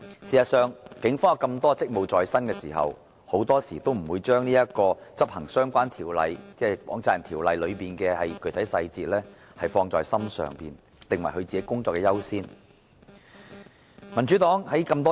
事實上，警方有眾多職務在身，很多時候也不會把執行《放債人條例》的相關具體細節放在心上，訂為要優先處理的工作。